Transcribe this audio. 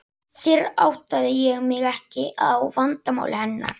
Fyrr áttaði ég mig ekki á vandamáli hennar.